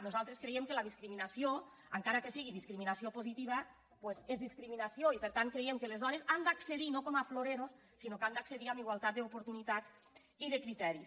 nosaltres creiem que la discriminació encara que sigui discriminació positiva doncs és discriminació i per tant creiem que les dones han d’accedir no com a florerosque han d’accedir amb igualtat d’oportunitats i de criteris